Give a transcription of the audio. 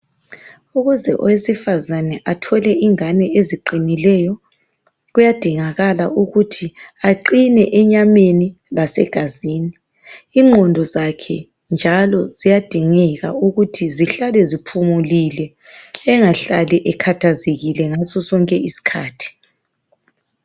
Ukuze owesifazane athole ingane eziqinileyo kuyadingakala ukuthi aqine emnyameni lasegazini. Ingqondo zakhe njalo ziyadingeka ukuthi zihlale ziphumulile engahlali ekhathazekile ngasosonke isikhathi.